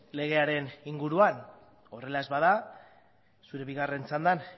legearen inguruan horrela ez bada zure bigarren txandan